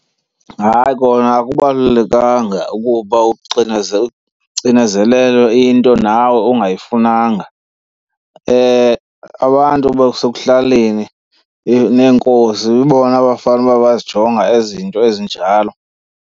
Hayi kona akubalulekanga ukuba ucinezelelwe into nawe ongayifunanga. Abantu basekuhlaleni neenkosi yibona abafanuba bayazijonge ezi zinto ezinjalo.